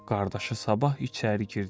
Qardaşı Sabah içəri girdi.